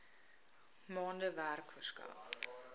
maande werk verskaf